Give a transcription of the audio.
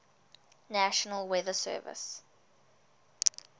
national weather service